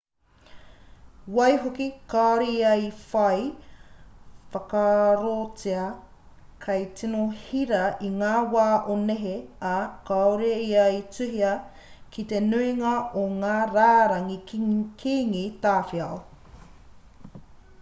waihoki kāore ia i whai whakaarotia hei tino hira i ngā wā o nehe ā kāore ia i tuhia ki te nuinga o ngā rārangi kīngi tawhito